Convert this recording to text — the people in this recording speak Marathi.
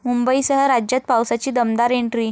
मुंबईसह राज्यात पावसाची दमदार एंट्री